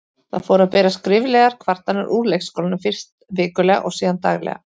Það fóru að berast skriflegar kvartanir úr leikskólanum, fyrst vikulega og síðan daglega.